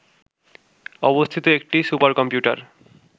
অবস্থিত একটি সুপারকম্পিউটার